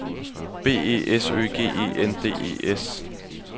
B E S Ø G E N D E S